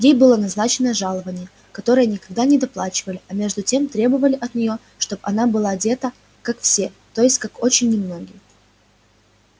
ей было назначено жалованье которое никогда не доплачивали а между тем требовали от нее чтоб она одета была как и все то есть как очень немногие